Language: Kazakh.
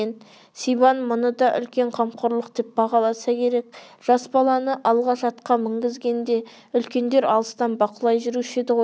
сибан мұны да үлкен қамқорлық деп бағаласа керек жас баланы алғаш атқа мінгізгенде үлкендер алыстан бақылай жүруші еді ғой